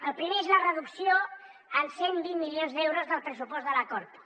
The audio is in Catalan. el primer és la reducció en cent i vint milions d’euros del pressupost de la corpo